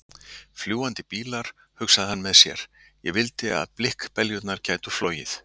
Fljúgandi bílar, hugsaði hann með sér, ég vildi að blikkbeljurnar gætu flogið.